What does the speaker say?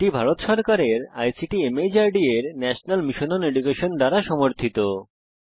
এটি ভারত সরকারের ICT MHRD এর ন্যাশনাল মিশন ওন এডুকেশন দ্বারা সমর্থিত